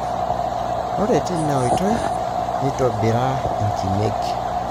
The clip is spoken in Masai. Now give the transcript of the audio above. ore teina oitoi nitobira inkimek.